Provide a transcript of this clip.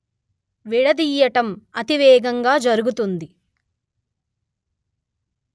విడదీయటం అతివేగంగా జరుగుతుంది